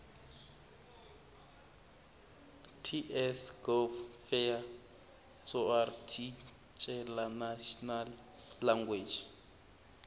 ts gov fea tsoarticlenational language